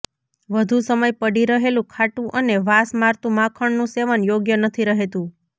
વધુ સમય પડી રહેલું ખાટું અને વાસ મારતું માખણનું સેવન યોગ્ય નથી રહેતું